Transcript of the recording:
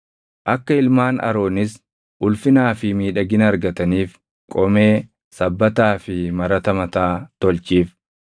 Akka ilmaan Aroonis ulfinaa fi miidhagina argataniif qomee, sabbataa fi marata mataa tolchiif.